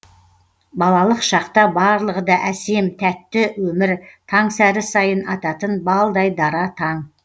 балалық шақта барлығы да әсем тәтті өмір таңсәрі сайын ататын балдай дара таң